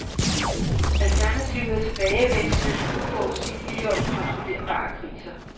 Alternativet er tilbagevendende, uforudsigelige og ukontrollerbare kriser.